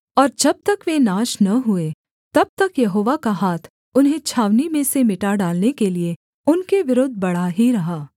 और जब तक वे नाश न हुए तब तक यहोवा का हाथ उन्हें छावनी में से मिटा डालने के लिये उनके विरुद्ध बढ़ा ही रहा